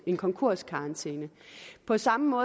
en konkurskarantæne på samme